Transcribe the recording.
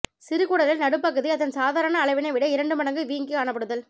சிறுகுடலில் நடுப்பகுதி அதன் சாதாரண அளவினை விட இரண்டு மடங்கு வீங்கிக் காணப்படுதல்